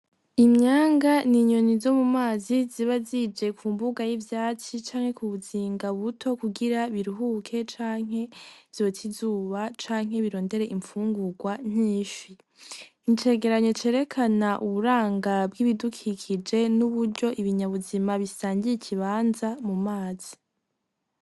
Imyanga n'inyoni zomumazi zibazije kumbuga y'ivyatsi canke kubuzinga buto kugira biruhuke ,canke vyote izuba , canke birondere imfungugwa nk'ifi N'icegeranyo cerekana uburanga bwibidukikije n'uburyo ibinyabuzima bisangiye ikibanza mu mazi.